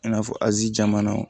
I n'a fɔ azi caman na